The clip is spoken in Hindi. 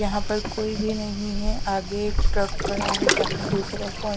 यहां पर कोई भी नहीं है आगे एक ट्रक खड़ा है जहां दूसरा कोय--